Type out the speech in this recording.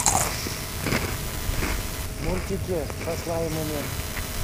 мультики со слаймами